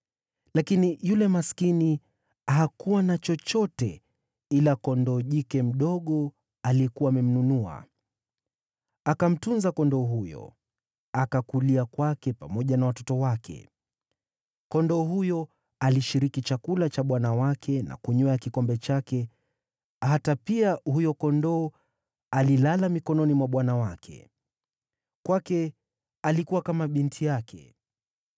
lakini yule maskini hakuwa na chochote ila kondoo jike mdogo aliyekuwa amemnunua. Akamtunza kondoo huyo, akakulia kwake pamoja na watoto wake. Kondoo huyo alishiriki chakula cha bwana wake na kunywea kikombe chake hata pia huyo kondoo alilala mikononi mwa bwana wake. Kwake alikuwa kama binti yake.